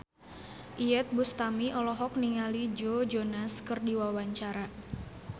Iyeth Bustami olohok ningali Joe Jonas keur diwawancara